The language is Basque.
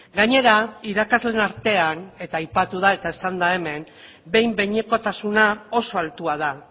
gainera irakasleen artean eta aipatu da eta esan da hemen behin behinekotasuna oso altua da